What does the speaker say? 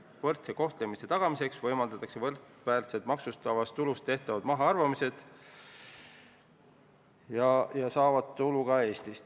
Võrdse kohtlemise tagamiseks võimaldatakse võrdväärsed maksustatavast tulust tehtavad mahaarvamised ka EMP lepinguriigi residentidele, kes saavad tulu Eestis.